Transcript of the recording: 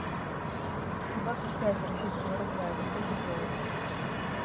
двадцать пять российского рубля это сколько в долларах